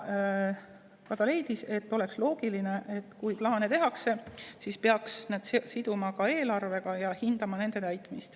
leidis, et kui plaane tehakse, siis peaks need siduma ka eelarvega ja hindama nende täitmist.